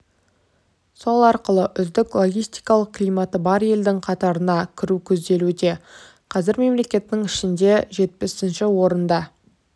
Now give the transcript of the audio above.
сол арқылы үздік логистикалық климаты бар елдің қатарына кіру көзделуде қазір мемлекеттің ішінде жетпісінші орында